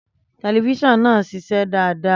Tẹlifísàn náà siṣé dáadáa